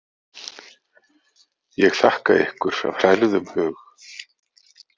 Ég þakka ykkur af hrærðum hug.